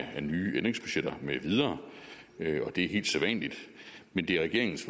af nye ændringsbudgetter mv og det er helt sædvanligt men det er regeringens